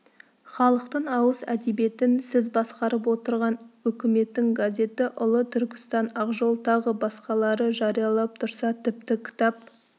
халықтың ауыз әдебиетін сіз басқарып отырған өкіметтің газеті ұлы түркістан ақжол тағы басқалары жариялап тұрса тіпті кітап